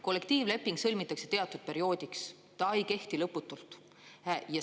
Kollektiivleping sõlmitakse teatud perioodiks, see ei kehti lõputult.